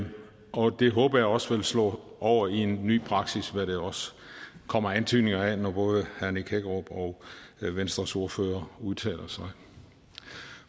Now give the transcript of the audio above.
og det håber jeg også vil slå over i en ny praksis hvad der også kommer antydninger af når både herre nick hækkerup og venstres ordfører udtaler sig